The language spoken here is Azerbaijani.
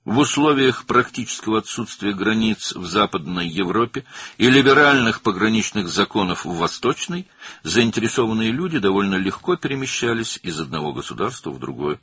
Qərbi Avropada sərhədlərin praktiki yoxluğu və Şərqdə liberal sərhəd qanunları şəraitində maraqlı şəxslər bir dövlətdən digərinə asanlıqla keçirdilər.